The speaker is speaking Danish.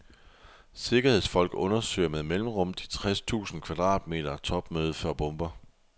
Sikkerhedsfolk undersøger med mellemrum de tres tusind kvadratmeter topmøde for bomber.